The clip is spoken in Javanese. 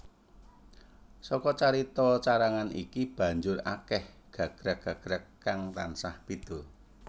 Saka carita carangan iki banjur akèh gagrag gagrag kang tansah béda